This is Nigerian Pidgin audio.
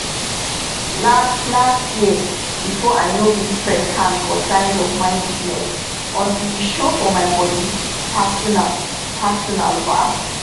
last last year before i no gree press hand for signs of mind sickness until e show for my body personal-personal ba